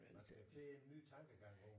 Man skal til en ny tankegang nu